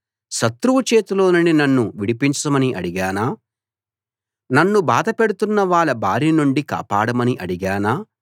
శత్రువు చేతిలోనుండి నన్ను విడిపించమని అడిగానా నన్ను బాధ పెడుతున్నవాళ్ళ బారి నుండి కాపాడమని అడిగానా